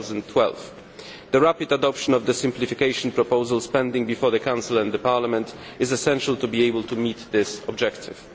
2012. The rapid adoption of the simplification proposals pending before the Council and Parliament is essential to being able to meet this objective.